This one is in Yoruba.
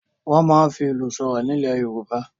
Wọ́n máa ń fi ìlù sọ̀rọ̀ nílẹ̀ Yorùbá.